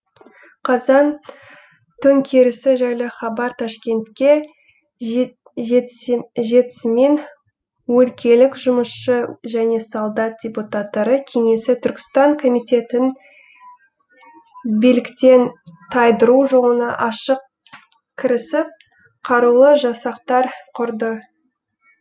қазан төңкерісі жайлы хабар ташкентке жетісімен өлкелік жұмысшы және солдат депутаттары кеңесі түркістан комитетін биліктен тайдыру жолына ашық кірісіп қарулы жасақтар құрды